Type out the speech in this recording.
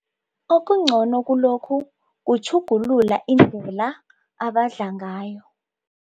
Okungcono kulokhu kutjhugulula indlela abadla ngayo.